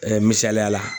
misaliya la